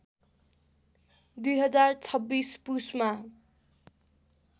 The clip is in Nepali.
२०२६ पुसमा